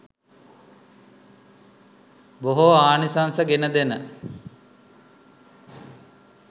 බොහෝ ආනිසංස ගෙනදෙන,